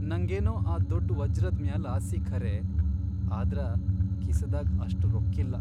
ನಂಗೇನೋ ಆ ದೊಡ್ ವಜ್ರದ್ ಮ್ಯಾಲ್ ಆಸಿ ಖರೇ ಆದ್ರ ಕಿಸದಾಗ್ ಅಷ್ಟ್ ರೊಕ್ಕಿಲ್ಲಾ.